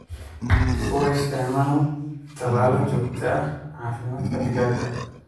U isticmaal tallaalo joogto ah caafimaadka digaaga.